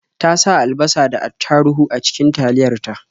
Ta sa alabasa da attaruhu a cikin taliyar ta.